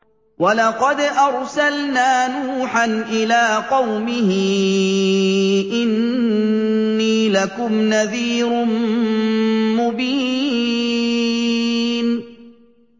وَلَقَدْ أَرْسَلْنَا نُوحًا إِلَىٰ قَوْمِهِ إِنِّي لَكُمْ نَذِيرٌ مُّبِينٌ